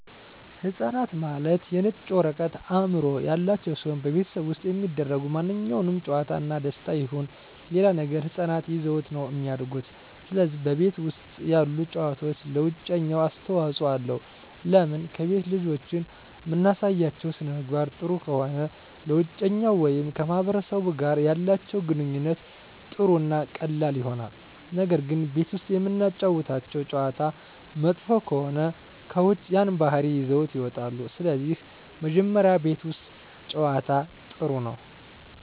ህፃናት ማለት የነጭ ወረቀት አዕምሮ ያላቸው ሲሆን በቤተሠብ ውስጥ የሚደሰጉ ማንኛውም ጨዋታ እና ደስታ ይሁን ሌላ ነገር ህፃናት ይዘውት ነው እሚድጉ ስለዚህ በቤት ውስጥ ያሉ ጨዋታዎች ለውጨኛው አስተዋፅኦ አለው ለምን ከቤት ልጆችን እምናሳያቸው ሥነምግባር ጥሩ ከሆነ ለውጨኛው ወይም ከማህበረሰቡ ጋር ያላቸው ግንኙነት ጥሩ እና ቀላል ይሆናል ነገር ግን ቤት ውስጥ እምናጫውታቸው ጨዋታ መጥፎ ከሆነ ከውጭ ያን ባህሪ ይዘውት ይወጣሉ ስለዚህ መጀመሪ ቤት ውስት ጨዋታ ጥሩ ነው